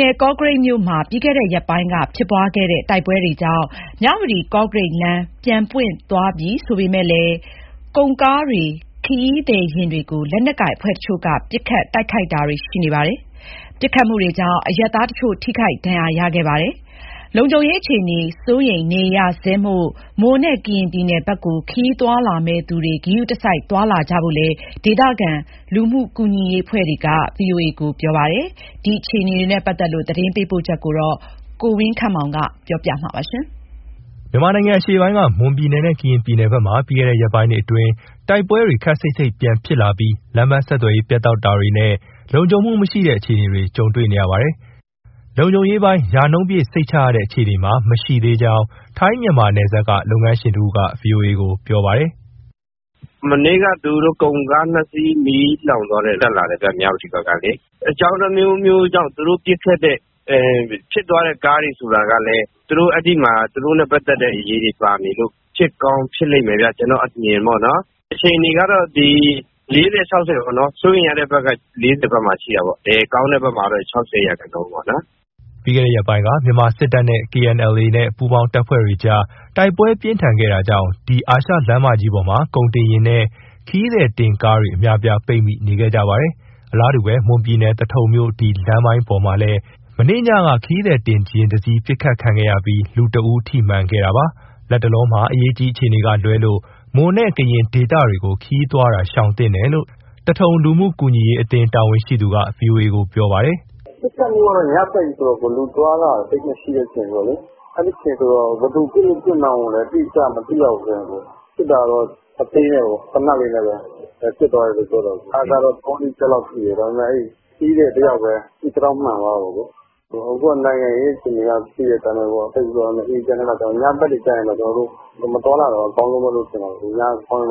နယ် ကော့ကရိတ်မြို့မှာ ပြီးခဲ့တဲ့ရက်ပိုင်းက ဖြစ်ပွားခဲ့တဲ့ တိုက်ပွဲတွေကြောင့်ပိတ်ထားတဲ့ မြဝတီ-ကော့ကရိတ်လမ်း ပြန်ပွင့်သွားပြီဆိုပေမယ့်လည်း ကုန် ကားတွေ၊ ခရီးသည်ယာဉ်တွေကို လက်နက်ကိုင်အဖွဲ့တချို့က ပစ်ခတ်၊ တိုက်ခိုက်တာတွေရှိနေပြီး အရပ်သားတချို့ ထိခိုက်ဒဏ်ရာရခဲ့ပါတယ်။ လုံခြုံရေး အခြေအနေ စိုးရိမ်နေရဆဲမို့ မွန်နဲ့ ကရင်ပြည်နယ်ဘက်ကို ခရီးသွားလာမယ့်သူတွေ ဂရုတစိုက် သွားလာကြဖို့ ဒေသခံတွေ လူမှုကူညီရေးအဖွဲ့တွေက သတိပေးနေကြပါတယ်။ မွန်နဲ့ ကရင်ပြည်နယ်အတွင်း လုံခြုံရေးအခြေအနေ သတင်းပေးပို့ချက်ကို ကိုဝင်းခန့်မောင်က တင်ပြပေးထားပါတယ်။ မြန်မာနိုင်ငံအရှေ့ပိုင်း မွန်ပြည်နယ်နဲ့ကရင်ပြည်နယ်ဘက်မှာ ပြီးခဲ့တဲ့ ရက်ပိုင်းတွေအတွင်း တိုက်ပွဲတွေ ခပ်စိပ်စိပ်ပြန်ဖြစ်လာပြီး လမ်းပန်းဆက်သွယ်ရေးပြတ်တောက်ပြီး လုံခြုံရေးပိုင်းမှာလည်း ရာနှုန်းပြည့်စိတ်ချရတဲ့အခြေအနေ မရှိသေးကြောင်း ထိုင်း-မြန်မာနယ်စပ်က လုပ်ငန်းရှင်တဦးက ဗွီအိုအေကို ပြောပါတယ်။ "မနေ့က သူတို့ကုန်ကားနှစ်စီး မီးလောင်သွားတယ်။ တက်လာတဲ့ မြဝတီဘက်ကလေ။ အကြောင်းအမျိုးမျိုးကြောင့် သူတို့ပစ်ခတ်တဲ့... ဖြစ်သွားတဲ့ ကားတွေဆိုတာကလည်း အဲဒီမှာ သူတို့နဲ့ပတ်သက်နဲ့အရည်တွေ ပါနေလို့ ဖြစ်ကောင်း ဖြစ်လိမ့်မယ်ဗျ။ ကျနော့အမြင်ပေါ့နော်။ အခြေအနေကတော့ ဒီ ၄၀: ၆၀ ပေါ့နော် စိုးရိမ်ရတဲ့ဘက်က ၄၀မှာရှိတာပေါ့။ ကောင်းတဲ့ဘက်မှာတော့ ၆၀ ရာခိုင်နှုန်းပေါ့နော်။" ပြီးခဲ့တဲ့ရက်ပိုင်းက မြန်မာစစ်တပ်နဲ့ KNLA နဲ့ ပူပေါင်းတပ်ဖွဲ့တွေကြား တိုက်ပွဲ ပြင်းထန်ခဲ့တာကြောင့် ဒီအာရှလမ်းမကြီးပေါ်မှာ ကုန်တင်ယာဉ်နဲ့ ခရီးသည်တင်ကားတွေ အများအပြား ပိတ်မိနေခဲ့ကြပါတယ်။ အလားတူပဲ မွန်ပြည်နယ်၊ သထုံမြို့ ဒီလမ်းပိုင်းပေါ်မှာလည်း မနေ့ကညက ခရီးသည်တင်ယာဉ်တစီး ပစ်ခတ်ခံရပြီး လူတဦးထိမှန်ခဲ့ပါတယ်။ လက်တလောမှာ အရေးကြီးအခြေအနေကလွဲလို့ မွန်နဲ့ ကရင်ဒေသတွေကို ခရီးသွားတာ ရှောင်သင့်တယ်လို့ သထုံလူမှုကူညီရေးအသင်း တာဝန်ရှိသူက ဗွီအိုအေကို ပြောပြပါတယ်။ “ပစ်ခတ်မှုက ညဘက်ကြီးဆိုတော့ လူအသွားအလာ သိပ်မရှိတဲ့အချိန်ဆိုတော့လေ ဘယ်သူပစ်လို့ပစ်မှန်းကို အတိအကျမသိရဘူး အခုက။ ပစ်တာကတော့ အသေးနဲ့ပဲ။ သေနတ်လေးနဲ့ ပစ်သွားတယ်လို့ပြောတယ်။ ကားကတော့ သုံးလေးချက်လောက်ထိတယ်။ ဒါပေမယ့် ခရီးသည်တယောက်ပဲ ခြေထောက်မှန်သွားတယ်။ အခုက နိုင်ငံရေးအခြေအနေအရ သိတဲ့အတိုင်းပဲ ဆိုတော့ ညဘက်တွေကျရင်တော့ မသွားလာတာတော့ အကောင်းဆုံးလို့ ထင်တယ်။ ည ၇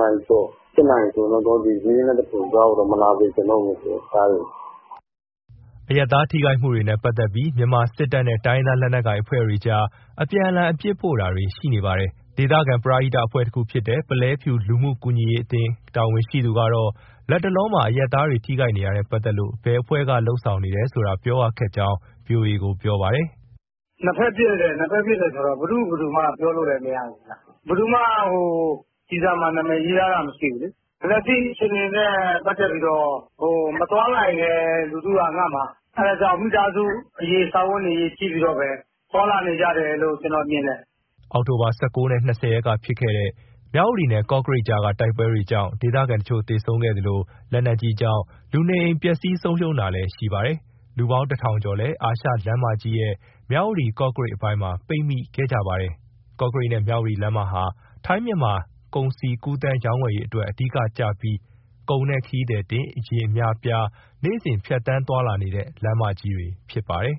နာရီကျော် ၈ နာရီဆိုရင်တော့ ရေးနဲ့သထုံကြားကို မလာစေချင်တော့ဘူး ကားတွေ။" အရပ်သားတွေ ထိခိုက်မှုတွေနဲ့ပတ်သက်ပြီး မြန်မာစစ်တပ်နဲ့ တိုင်းရင်းသားလက်နက်ကိုင် အဖွဲ့တွေအကြား အပြန်အလှန် အပြစ်ဖို့တာတွေ ရှိနေပါတယ်။ ဒေသခံ ပရဟိတ္တအဖွဲ့တခု ဖြစ်တဲ့ ပုလဲဖြူလူမှုကူညီရေးအသင်း တာဝန်ရှိသူကတော့ လတ်တလောမှာ အရပ်သားတွေ ထိခိုက်နေရတာနဲ့ပတ်သက်လို့ ဘယ်အဖွဲ့က လုပ်ဆောင်တယ်ဆိုတာ ပြောရခက်ကြောင်း VOA ကို ပြောပါတယ်။ " နှစ်ဘက်ပစ်တယ်ဆိုတော့ ဘယ်သူ့ ဘယ်သူမှပြောလို့မရဘူးလေ။ ဘယ်သူမှ ကျည်ဆံမှာ နာမည်ရေးထားတာ မရှိဘူးလေ။ လက်ရှိအခြေအနေနဲ့ ပတ်သက်ပြီးတော့ မသွားနိုင်လည်း လူထုကငတ်မှာ။ အဲဒါကြောင့် မိသားစုအရေး၊ စားဝတ်နေရေး ကြည့်ပြီးတော့ပဲ သွားလာနေကြတယ်လို့ ကျနော်မြင်တယ်။" အောက်တိုဘာ ၁၉ နဲ့ ၂၀ ရက်ကဖြစ်ခဲ့တဲ့ မြဝတီနဲ့ ကော့ကရိတ်ကြားက တိုက်ပွဲတွေကြောင့် ဒေသခံတချို့ သေဆုံးခဲ့သလို လက်နက်ကြီးကြောင့် လူနေအိမ် ပျက်စီးဆုံးရှုံးရတာလည်း ရှိပါတယ်။ လူပေါင်း ၁,၀၀၀ ကျော်လည်း အာရှလမ်းမကြီးရဲ့ မြဝတီ- ကော့ကရိတ်အပိုင်းမှာ ပိတ်မိခဲ့ကြပါတယ်။ ကော့ကရိတ်နဲ့ မြဝတီ လမ်းမဟာ ထိုင်း-မြန်မာ ကုန်စည်ကူးသန်းရောင်းဝယ်ရေးအတွက် အဓိကကျပြီး ကုန်နဲ့ ခရီးသည်ယာဉ် အများအပြား နေ့စဉ် ဖြတ်သန်းသွားလာနေတဲ့ လမ်းမကြီးတွေ ဖြစ်ပါတယ်